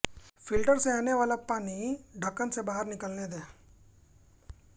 filter से आनेवाला पानी ढक्कन से बाहर निकलने दें